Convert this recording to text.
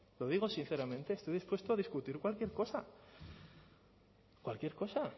lo digo sinceramente estos dispuesto a discutir cualquier cosa cualquier cosa